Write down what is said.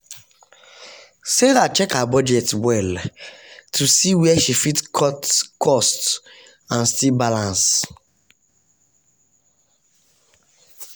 sarah check her budget well to see where she fit cut cost and still balance.